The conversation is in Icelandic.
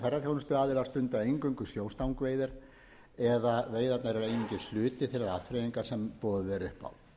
ferðaþjónustuaðilar stunda eingöngu sjóstangaveiðar eða veiðarnar eru einungis hluti þeirrar afþreyingar sem boðið er upp á